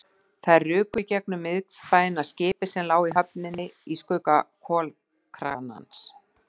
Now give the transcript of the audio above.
Þær ruku í gegnum miðbæinn og að skipi sem lá í höfninni í skugga kolakranans.